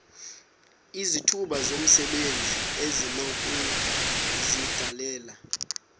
izithuba zomsebenzi esinokuzidalela